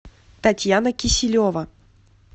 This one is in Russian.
татьяна киселева